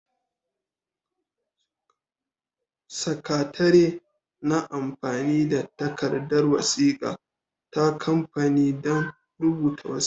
Sakatare na amfani da takardar wasiƙa ta kamfani don rubuta wasiƙa.